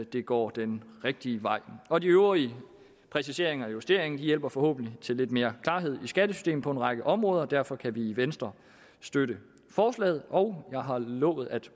det går den rigtige vej og de øvrige præciseringer og justeringer hjælper forhåbentlig til lidt mere klarhed i skattesystemet på en række områder derfor kan vi i venstre støtte forslaget og jeg har lovet at